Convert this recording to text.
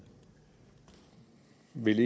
vil